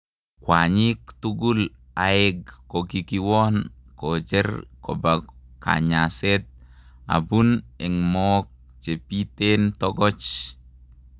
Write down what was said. Kwanyik tugul aeg kokikiwon korjeck kopa kanyaset apun en mook chepiten tokoch